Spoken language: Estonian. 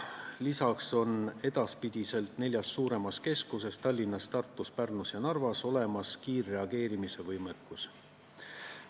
Lisaks on edaspidi neljas suuremas keskuses – Tallinnas, Tartus, Pärnus ja Narvas – olemas kiirreageerimise võimekus.